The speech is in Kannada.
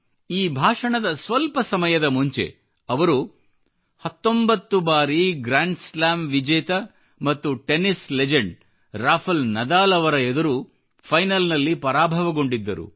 ಈ ಭಾಷಣದಸ್ವಲ್ಪ ಸಮಯದ ಮುಂಚೆ ಅವರು 19 ಬಾರಿ ಗ್ರ್ಯಾಂಡ್ ಸ್ಲ್ಯಾಮ್ ವಿಜೇತ ಮತ್ತು ಟೆನ್ನಿಸ್ ಲೆಜೆಂಡ್ ರಾಫಲ್ ನಡಾಲ್ ಅವರ ಎದುರು ಫೈನಲ್ ನಲ್ಲಿ ಪರಾಭವಗೊಂಡಿದ್ದರು